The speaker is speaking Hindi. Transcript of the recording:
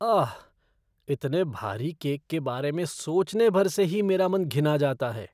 आह, इतने भारी केक के बारे में सोचने भर से ही मेरा मन घिन्ना जाता है।